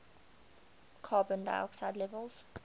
carbon dioxide levels